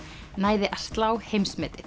næði að slá heimsmetið